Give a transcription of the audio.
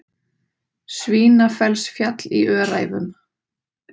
Svínafellsfjall í Öræfum.